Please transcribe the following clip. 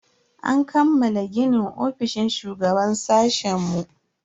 An kammala ginin ofishin shugaban sashen mu.